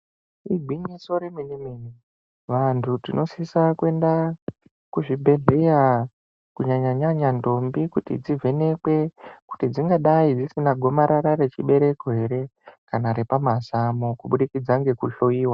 "Igwinyiso remene-mene!" Vantu tinosisa kuenda kuzvibhadhlera, kunyanya-nyanya ntombi kuti dzivhenekwe, kuti dzingadai dzisina gomarara rechibereko here kana repamazamu kubudikidza nekuhloiwa.